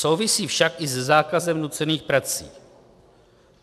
Souvisí však i se zákazem nucených prací.